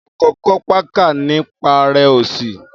akọkọ pakà nipa rẹ osi.